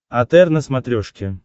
отр на смотрешке